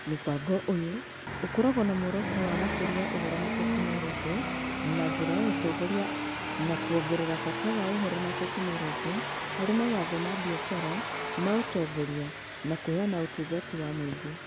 Mũbango ũyũ ũkoragwo na muoroto wa gũkũria Ũhoro na Teknoroji na njĩra ya ũtongoria na kwongerera bata wa Ũhoro na Teknoroji harĩ mawatho ma biacara ma ũtongoria na kũheana ũtungata wa mũingĩ.